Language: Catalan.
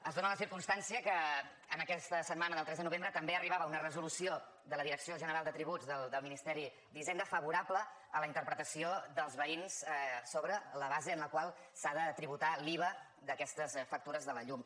es dóna la circumstància que en aquesta setmana del tres de novembre també arribava una resolució de la direcció general de tributs del ministeri d’hisenda favorable a la interpretació dels veïns sobre la base en la qual s’ha de tributar l’iva d’aquestes factures de la llum